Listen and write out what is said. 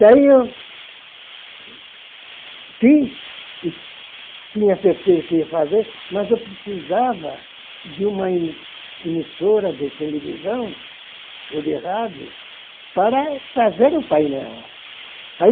Daí eu fiz e tinha certeza que ia fazer, mas eu precisava de uma emi emissora de televisão ou de rádio para fazer o painel. Ai